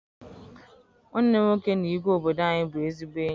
Nwanne m nwoke na igwe obodo anyị bụ ezigbo enyi.